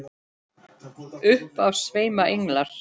Upp af sveima englar.